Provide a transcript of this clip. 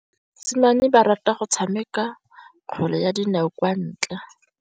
Basimane ba rata go tshameka kgwele ya dinaô kwa ntle.